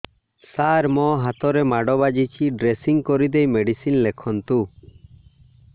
ସାର ମୋ ହାତରେ ମାଡ଼ ବାଜିଛି ଡ୍ରେସିଂ କରିଦେଇ ମେଡିସିନ ଲେଖନ୍ତୁ